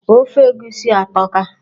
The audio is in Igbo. Ofe egusi a atọka.